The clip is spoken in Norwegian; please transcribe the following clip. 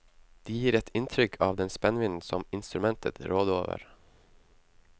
De gir et inntrykk av den spennvidden som instrumentet råder over.